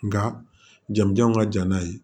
Nka jama janw ka jan n'a ye